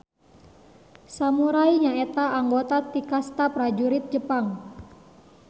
Samurai nyaeta anggota ti kasta prajurit Jepang.